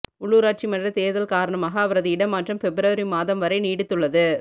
உள்ளூராட்சிமன்ற தேர்தல் காரணமாக அவரது இடமாற்றம் பெப்ரவரி மாதம் வரை நீடித்துள்ளது